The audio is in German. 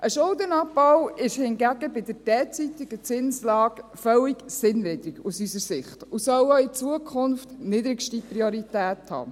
Ein Schuldenabbau ist aus unserer Sicht hingegen bei der derzeitigen Zinslage völlig sinnwidrig und soll auch in Zukunft niedrigste Priorität haben.